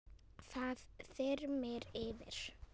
Það þyrmir yfir.